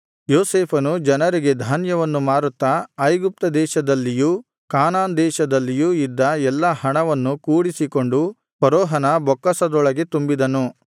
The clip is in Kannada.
ಯೋಸೇಫನು ಜನರಿಗೆ ಧಾನ್ಯವನ್ನು ಮಾರುತ್ತಾ ಐಗುಪ್ತ ದೇಶದಲ್ಲಿಯೂ ಕಾನಾನ್‌ ದೇಶದಲ್ಲಿಯೂ ಇದ್ದ ಎಲ್ಲಾ ಹಣವನ್ನು ಕೂಡಿಸಿಕೊಂಡು ಫರೋಹನ ಬೊಕ್ಕಸದೊಳಗೆ ತುಂಬಿದನು